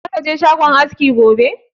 Za ka je shagon askin gobe?